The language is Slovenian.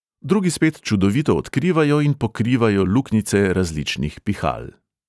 Drugi spet čudovito odkrivajo in pokrivajo luknjice različnih pihal.